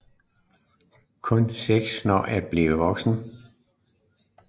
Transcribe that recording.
Kun seks når at blive voksne